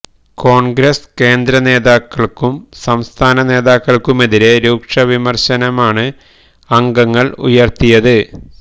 കോണ്ഗ്രസ് കേന്ദ്ര നേതാകള്ക്കും സംസ്ഥാന നേതാക്കള്ക്കുമെതിരെ രൂക്ഷമായ വിമര്ശനമാണ് അംഗങ്ങള് ഉയര്ത്തിയത്